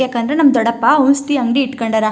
ಯಾಕಂದ್ರೆ ನಮ್ ದೊಡ್ಡಪ್ಪ ಔಷಧಿ ಅಂಗಡಿ ಇಟ್ಕಂಡರಾ --